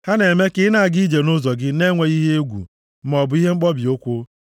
Ha na-eme ka ị na-aga ije nʼụzọ gị na-enweghị ihe egwu maọbụ ihe mkpọbi ụkwụ.